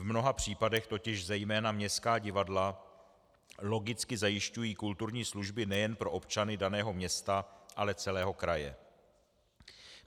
V mnoha případech totiž zejména městská divadla logicky zajišťují kulturní služby nejen pro občany daného města, ale celého kraje.